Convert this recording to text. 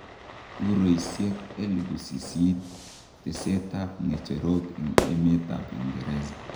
Eruisiek 8,000 teset ab ngecherok en emet ab Uingereza.